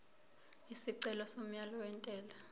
isicelo somyalo wentela